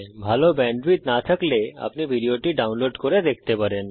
ভাল ব্যান্ডউইডথ না থাকলে আপনি ভিডিওটি ডাউনলোড করে দেখতে পারেন